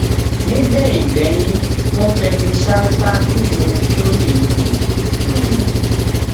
nígbẹyìn gbẹyìn wọn fẹnu ṣáátá fíìmù tọyìn yìí ni um